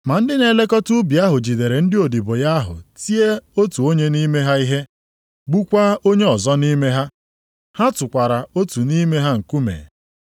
“Ma ndị na-elekọta ubi ahụ jidere ndị odibo ya ahụ tie otu onye nʼime ha ihe, gbukwaa onye ọzọ nʼime ha. Ha tụkwara otu nʼime ha nkume.